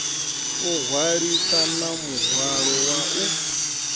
o hwalisana muhwalo wa u